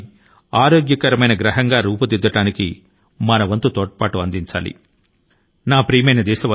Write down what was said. ఆరోగ్యకరమైన భూమి ని సృష్టించడానికి మనం మన సహకారాన్ని అందిద్దాము